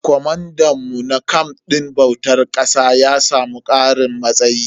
Comandan mu na camf din bautar ƙasa ya samu karin matsayi.